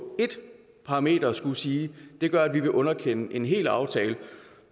ét parameter skulle sige at det gør at vi vil underkende en en hel aftale